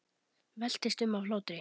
Veltist um af hlátri.